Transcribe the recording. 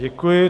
Děkuji.